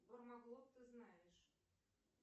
кормоглот ты знаешь